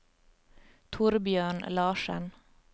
Torbjørn Larsen